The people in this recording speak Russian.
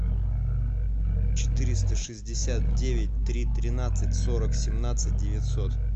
четыреста шестьдесят девять три тринадцать сорок семнадцать девятьсот